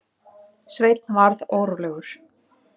Sveinn varð órólegur.